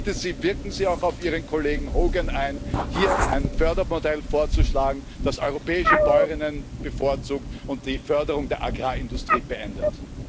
Ich bitte Sie, wirken Sie auch auf Ihren Kollegen Hogan ein, hier ein Fördermodell vorzuschlagen, das europäische Bäuerinnen und Bauern bevorzugt und die Förderung der Agrarindustrie beendet.